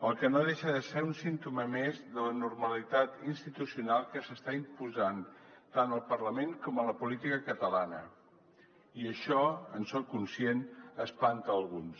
cosa que no deixa de ser un símptoma més de la normalitat institucional que s’està imposant tant al parlament com a la política catalana i això en soc conscient espanta alguns